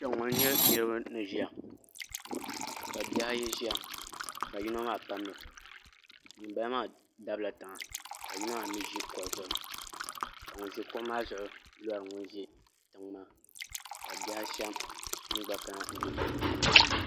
Kpɛŋŋo n nyɛ niraba ni ʒiya ka bihi ayi ʒiya ka yino maa pamdo ŋunbala maa dabila tiŋa ka yino maa mii ʒi kuɣu zuɣu ka ŋun ʒi kuɣu maa zuɣu lori ŋun ʒi tiŋ maa ka bihi ashɛm gba kana ni n ti ʒiya yuundiba